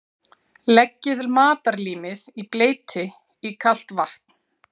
Leggið matarlímið í bleyti í kalt vatn.